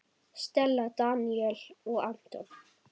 Stella, Daníel og Anton.